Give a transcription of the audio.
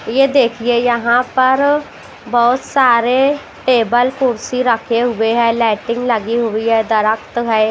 ये देखिए यहां पर बहुत सारे टेबल कुर्सी रखे हुए हैं लाइटिंग लगी हुई है दरक्त है।